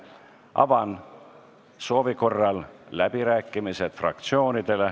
Avan soovi korral fraktsioonide läbirääkimised.